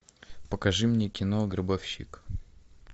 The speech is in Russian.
покажи мне кино гробовщик